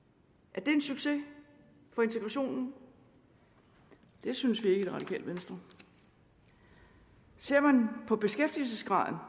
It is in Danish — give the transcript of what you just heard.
er det en succes for integrationen det synes vi ikke i det radikale venstre ser man på beskæftigelsesgraden